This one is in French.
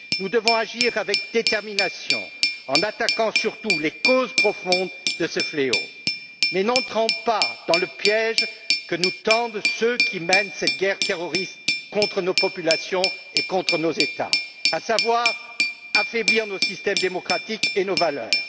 Nous devons agir avec détermination en attaquant surtout les causes profondes de ce fléau, mais ne tombons pas dans le piège que nous tendent ceux qui mènent cette guerre terroriste contre nos populations et contre nos États, à savoir affaiblir nos systèmes démocratiques et nos valeurs.